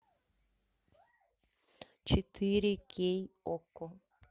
четыре кей окко